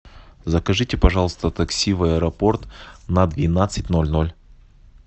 закажите пожалуйста такси в аэропорт на двенадцать ноль ноль